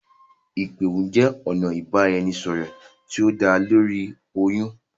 Ipe ohùn jẹ ọna ibaraẹnisọrọ ti o da lórí ohyun.